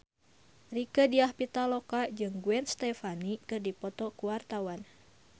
Rieke Diah Pitaloka jeung Gwen Stefani keur dipoto ku wartawan